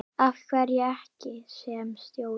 Af hverju ekki sem stjóri?